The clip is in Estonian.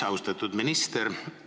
Austatud minister!